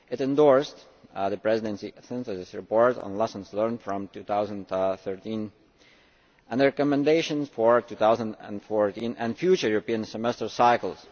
It endorsed the Presidency synthesis report on lessons learnt from 2013 and the recommendations for 2014 and future European Semester cycles.